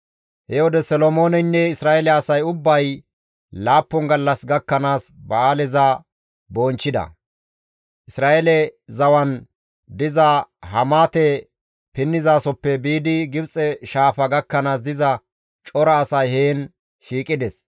He wode Solomooneynne Isra7eele asay ubbay laappun gallas gakkanaas ba7aaleza bonchchida; Isra7eele zawan diza Hamaate pinnizasoppe biidi Gibxe Shaafa gakkanaas diza cora asay heen shiiqides.